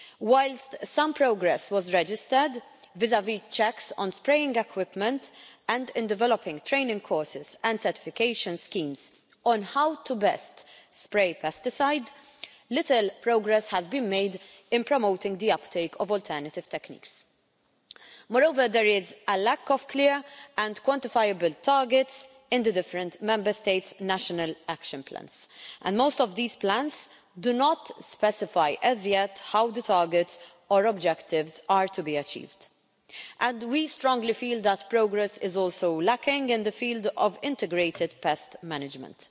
Whilst some progress was registered vis vis checks on spraying equipment and in developing training courses and certification schemes on how to best spray pesticides, little progress has been made in promoting the uptake of alternative techniques. Moreover, there is a lack of clear and quantifiable targets in the different Member States' national action plans and most of these plans do not specify as yet how the targets or objectives are to be achieved. We strongly feel that progress is also lacking in the field of integrated pest management.